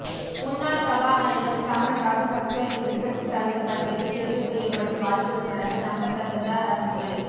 முன்னாள் சபாநாயகர் சமல் ராஜபக்ச எதிர்க்கட்சித் தலைவர் பதவிக்கு தெரிவு செய்யப்படும் வாய்ப்பு இருப்பதாக நம்பத் தகுந்த அரசியல்